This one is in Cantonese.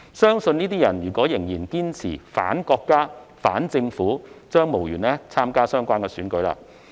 如果這些人仍然堅持"反國家"、"反政府"，相信將無緣參加相關選舉。